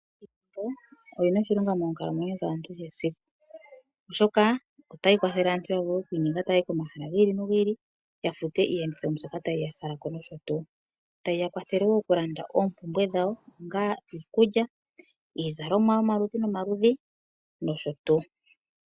Iimaliwa oyina oshilonga moonkalamwenyo dhaantu kehe esiku oshoka otayi kwathele aantu ya vule oku inyenga taya yi komahala gi ili nogi ili yafute iiyenditho mbyoka tayi yafala noshotu. Otayi yakwathele oku landa oompumbwe dhawo onga iikulya, iizalomwa yomaludhi nomaludhi noshotu.